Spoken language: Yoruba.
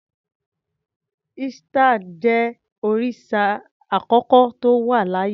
Ishtar jẹ́ òrìsà àkọ́kọ́ tó wà láyé.